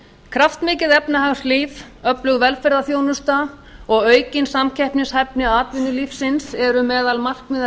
kraftmikið efnahagslíf öflug velferðarþjónusta og aukin samkeppnishæfni atvinnulífsins eru meðal markmiða